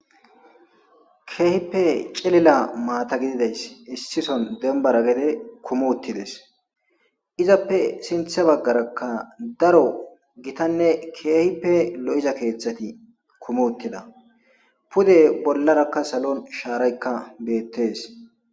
keehippe celila maata gididays issison dembara gede kumuttides izappe sinthe baggarakka daro gitanne keehippe lo7iza keeththati kumuttida pude bollarakka salon shaaraykka beettes